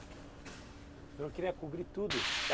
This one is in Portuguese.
O senhor queria cobrir tudo?